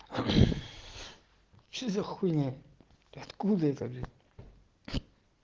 что за хуйня и откуда это блядь